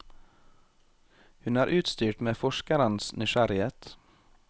Hun er utstyrt med forskerens nysgjerrighet.